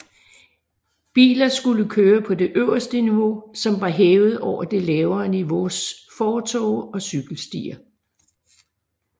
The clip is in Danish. Biler skulle køre på det øverste niveau som var hævet over det lavere niveaus fortove og cykelstier